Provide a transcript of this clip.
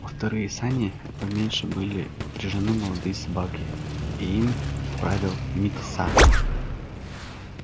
во вторые сани поменьше были впряжены молодые собаки и им правил мит са